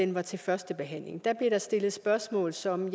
var til førstebehandling da blev der stillet spørgsmål som